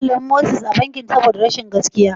An sallami Moses daga bankin saboda rashin gaskiya?